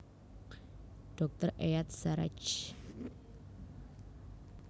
Dr Eyad Sarraj